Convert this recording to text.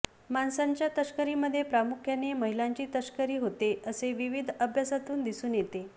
माणसांच्या तस्करीमध्ये प्रामुख्याने महिलांची तस्करी होते असे विविध अभ्यासांत दिसून येते